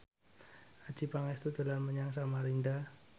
Adjie Pangestu dolan menyang Samarinda